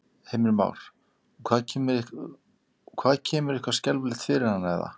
Heimir Már: Og hvað kemur eitthvað skelfilegt fyrir hana eða?